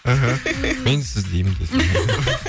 мхм мен сіз деймін